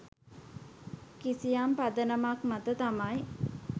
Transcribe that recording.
කිසියම් පදනමක් මත තමයි.